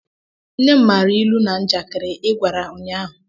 Nne m maara ilu na njakịrị ị gwara ụnyaahụ